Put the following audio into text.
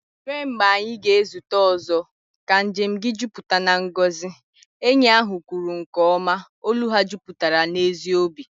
"Ruo mgbe anyị ga-ezute ọzọ, ka njem gị jupụta na ngọzi," enyi ahụ kwuru nke ọma, olu ha jupụtara n'ezi obi